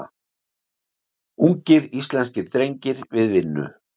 Ungir íslenskir drengir við vinnu.